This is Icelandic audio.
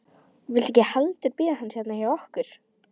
Viltu ekki heldur bíða hans hérna hjá okkur?